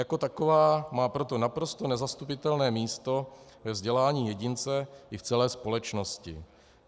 Jako taková má proto naprosto nezastupitelné místo ve vzdělání jedince i v celé společnosti.